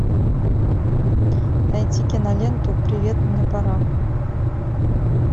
найти киноленту привет мне пора